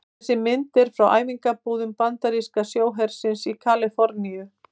Þessi mynd er frá æfingabúðum bandaríska sjóhersins í Kaliforníu.